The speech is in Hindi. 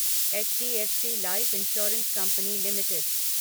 HDFC life insurance company limited